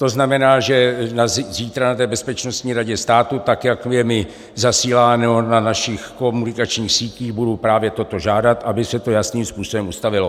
To znamená, že zítra na té Bezpečnostní radě státu, tak jak je mi zasíláno na našich komunikačních sítích, budu právě toto žádat, aby se to jasným způsobem ustavilo.